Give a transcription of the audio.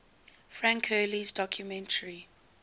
frank hurley's documentary